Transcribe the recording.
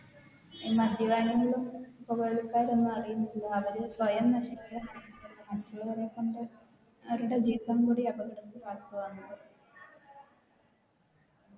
ഈ മദ്യപാനികളും പോകവലിക്കാരും ഒന്നും അറിയുന്നില്ല അവര് സ്വയം നശിക്ക മറ്റുള്ളവരെക്കൊണ്ട് അവരുടെ ജീവൻ കൂടി അപകടത്തിലാക്കുകയാണ്